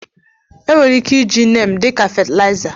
Enwere ike iji Neem dị ka fatịlaịza.